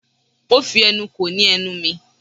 Ó fi ẹnu ko ní ẹnu mi.